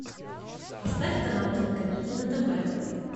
поставь канал кинокомедия на тв